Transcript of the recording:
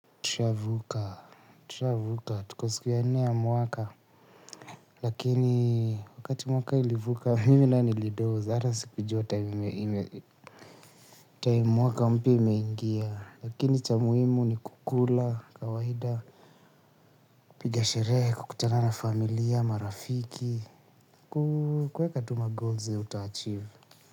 Tusha vuka, tusha vuka, tukosiku ya nne mwaka. Lakini wakati mwaka ilivuka mimi nae nilidoz hata sikujua time mwaka mpya imeingia. Lakini cha muhimu ni kukula kawaida. Kupiga sherehe, kukutana na familia, marafiki kuweka tu ma goals zenye uta achieve.